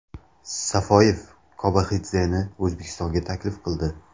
Safoyev Kobaxidzeni O‘zbekistonga taklif qildi.